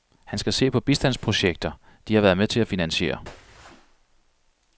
Han skal se på bistandsprojekter, de har været med til at finansiere.